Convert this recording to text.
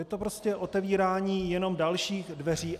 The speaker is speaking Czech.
Je to prostě otevírání jenom dalších dveří.